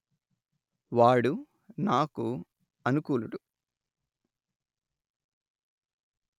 వాడు నాకు అనుకూలుడు